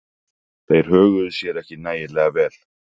Þeir höguðu sér ekki nægilega vel.